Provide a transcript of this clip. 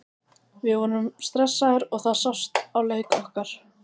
Við vorum stressaðir og það sást á leik okkar.